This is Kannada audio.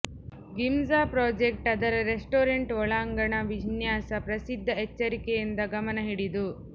ಗಿಂಝ ಪ್ರಾಜೆಕ್ಟ್ ಅದರ ರೆಸ್ಟೋರೆಂಟ್ ಒಳಾಂಗಣ ವಿನ್ಯಾಸ ಪ್ರಸಿದ್ಧ ಎಚ್ಚರಿಕೆಯಿಂದ ಗಮನ ಹಿಡಿದು